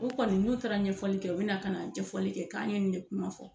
U kɔni n'u taara ɲɛfɔli kɛ u bɛ na ka na jɛfɔli kɛ k'an ye nin de kuma fɔ.